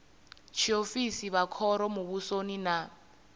tshiofisi vha khoro muvhusoni na